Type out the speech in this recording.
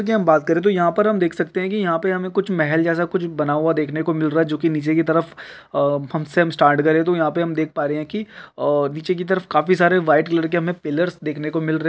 कि हम बात करे तो यहाँ पर हम देख सकते है कि यहाँ पे हमें कुछ महल जैसा कुछ बना हुआ देखने को मिल रा जोकि नीचे की तरफ अ से हम स्टार्ट करें तो यहाँ पे हम देख पा रहे है कि अ नीचे की तरफ काफी सारे वाइट कलर के हमें पिलर्स दिखने को मिल रहे --